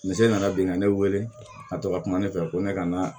ne nana bin ka ne weele ka to ka kuma ne fɛ ko ne ka na